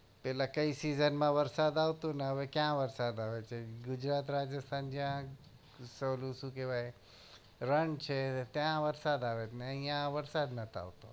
પેલા કઈ season માં વરસાદ આવતો ન હવે ક્યાં વરસાદ આવે છે ગુજરાત રાજસ્તાન જ્યાં ઉત્સવ ઓલો શું કેવાય રણ છે ત્યાં વરસાદ આવે છે અહી વરસાદ નથ આવતો